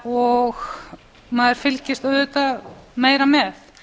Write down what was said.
og maður fylgist auðvitað meira með